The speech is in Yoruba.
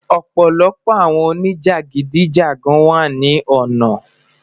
ọpọlọpọ awọn onijagidijagan wa ni lona